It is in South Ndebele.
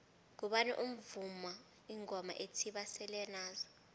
ngubani ovuma ingoma ethi basele nazo